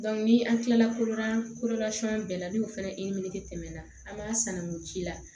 ni an kilala koda bɛɛ la n'o fɛnɛ tɛmɛna an b'a sanangun ci la